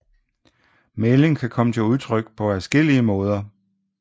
Mægling kan komme til udtryk på adskillelige måder